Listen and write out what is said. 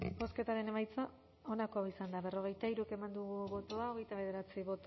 bozketaren emaitza onako izan da berrogeita hiru eman dugu bozka